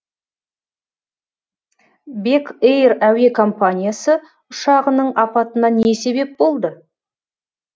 бек эйр әуе компаниясы ұшағының апатына не себеп болды